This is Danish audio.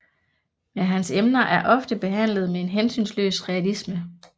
Men hans emner er ofte behandlede med en hensynsløs realisme